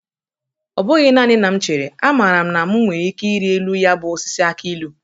Ọ bụghị nanị na m chere; amara m na mụ nwere ike iri elu ya bụ osisi akị ilu.